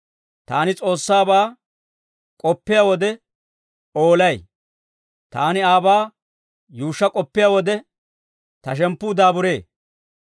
Taani S'oossaabaa k'oppiyaa wode, oolay; taani aabaa yuushsha k'oppiyaa wode, ta shemppuu daaburee.